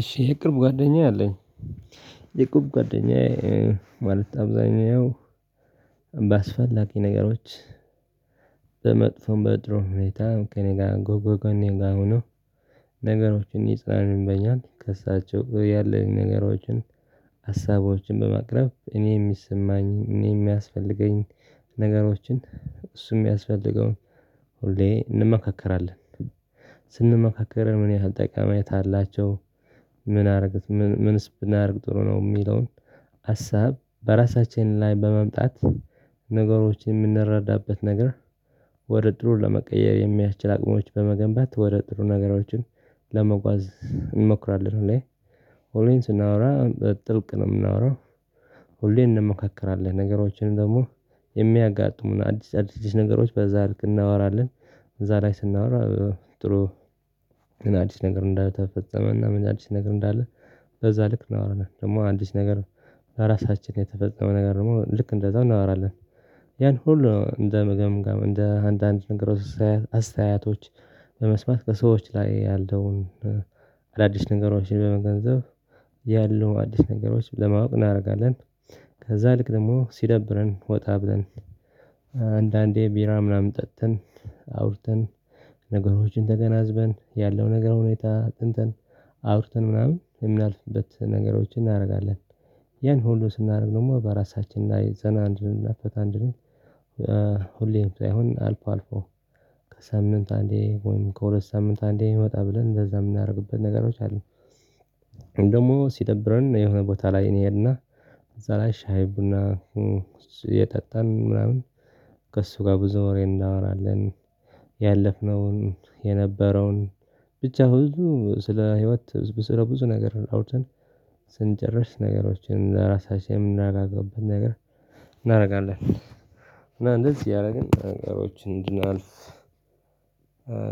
እሺ የቅርብ ጓደኛ አለኝ። የቅርብ ጓደኛዬ ማለት አብዛኛው ባስፈላጊ ነገሮች። በመጥፎም በጥሩም ሁኔታ ከእኔ ጋር ከጎኔ ጋር ሆኖ። ነገሮችን ያጽናኑኛል ከእሳቸው ያለኝ ነገሮችን ሀሳቦችን በማቅረብ እኔ እሚሰማኝን እኔ እሚያስፈልገኝን ነገሮችን እሱ እሚያስፈልገውን ሁሌ እንመካከራለን። ስንመካከርም ምን ያህል ጠቃሚነት አላቸው ምን አረጉት ምን ምንስብናደርግ ጥሩ ነው እሚለውን። ሀሳብ በራሳችን ላይ በማምጣት ነገሮችን እምንረዳበት ነገር ወደ ጥሩ ለመቀየር የሚያስችል አቅሞች በመገንባት ወደ ጥሩ ነገሮችን ለመጓዝ እንሞክራለን። እኔ ሁሌም ስናወራ ጥልቅ ነው እምናውራ። ሁሌ እንሞካከራለን ነገሮችን ደግሞ የሚያጋጥሙን አዲስ አዲስ ነገሮች በዛ ልክ እንናወራለን እዛ ላይ ስናወራ። ጥሩ አዲስ ነገር እንዳልተፈጸመ እና ምን አዲስ ነገር እንዳለ በዛ ልክ እናወራለን ደግሞ አዲስ ነገር ለራሳችን የተፈፀመ ነገር ደግሞ ልክ እንደዛው እናወራለን። ያን ሁሉ እንደ ምግብ እንደ አንዳንድ ነገሮች አስተያየቶች ከሰዎች ላይ ያለውን አዳዲስ ነገሮችን በመገንዘብ ያሉ አዲስ ነገሮች ለማወቅ እናደርጋለን። ከዛ ልክ ደግሞ ሲደብረን ወጣ ብለን አንዳንዴ ቢራ ምናምን ጠጥን አውርተን ነገሮችን ተገናዝበን ያለው ነገር ሁኔታ አጥንተን አውርተን ምናምን የሚያልፍበት ነገሮችን እናደርጋለን። ይሄን ሁሉ ስናደርግ ደግሞ በራሳችን ላይ ዘና አንድንል እና ፈታ እንድንል ሁሌም ሳይሆን አልፎ አልፎ ከሳምንት አንዴ ወይም ከሁለት ሳምንት አንዴ ወጣ ብለን እንደዛ የምናደርግበት ነገሮች አሉ። ደግሞ ሲደብረን የሆነ ቦታ ላይ እንሄድና እዛ ላይ ሻይ ቡና እየጠጣን ምናምን ከእሱ ጋር ብዙ ወሬ እናወራለን። ያለፍነውን የነበረውን ብቻ ቡዙ ስለ ህይወት ስለ ብዙ ነገር አውርተን ስንጨርስ ነገሮችን ለራሳችን የምናግባባበትን ነገር እናደርጋለን። እና እንደዚህ እያደረግን ነገሮችን እንድናልፍ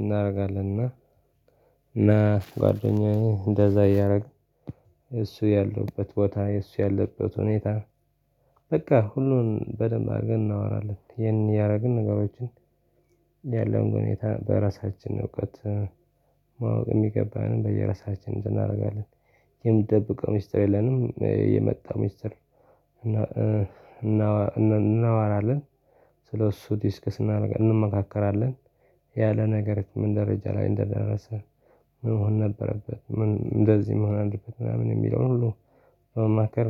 እናደርጋለን። እና ጓደኛዬ እንደዛ እያደረግን እሱ ያለሁበት ቦታ የሱ ያለበት ሁኔታ በቃ ሁሉን በደንብ አድርገን እናወራለን ይሄን እያደረግን ነገሮችን። ያለውን ሁኔታ በራሳችን እውቀት ማወቅ የሚገባንን በየራሳችን እናደርጋለን። የምንደብቀው ሚስጥር የለንም የመጣው ሚስጥር እናወራለን ስለእሱ ዲስከስ እንመካከራለን። ያለ ነገር ምን ደረጃ ላይ እንደደረሰ ምን መሆን ነበረበት ምን እንደዚህ መሆን አለበተ ምናምን እሚለውን ሁሉ።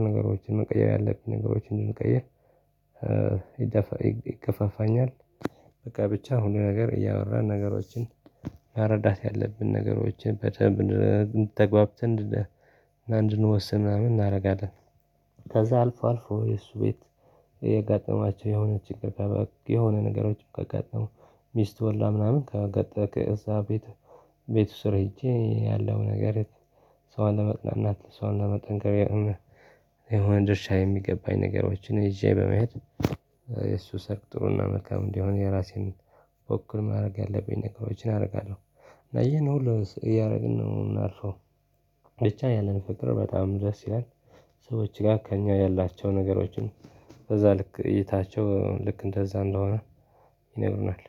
ነገሮችን መቀየር ያለብኝ ነገሮችን እንድንቀይር ይገፋፋኛል። በቃ ብቻ ሁሉ ነገር እያወራን ነገሮችን መረዳት ያለብን ነገሮችን ተግባብተን እንድንወስን ምናምን እናደርጋለን። ከዛ አልፎ አልፎ የእሱ ቤት የሆነ ችግር የሆነ ነገሮች ካጋጠሙ ሚስቱ ወልዳ ምናምን ካጋጠመ እዛ ቤት ቤቱ ስር ሄጄ ያለው ነገር እሷን ለማጽናናት እሷን ለማጠንከር። የሆነ ድርሻ የሚገባኝ ነገሮችን ይዤ በመሄድ የእሱ ሰርግ ጥሩና መልካም እንዲሆን የራሴን በወቅቱ ማድረግ ያለብኝ ነገሮችን አደርጋለሁ። እና ይሄን ሁሉ እያደረግን ነው እምናልፈው። ብቻ ያለን ፍቅር በጣም ደስ ይላል። ሰዎች ጋር ከእኛ ያላቸው ነገሮችን በዛ ልክ እይታቸው ልክ እንደዛ እንደሆነ ይነግሩናል